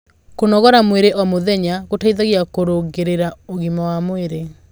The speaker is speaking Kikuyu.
kũnogora mwĩrĩ o mũthenya gũteithagia kurungirĩa ũgima wa mwĩrĩ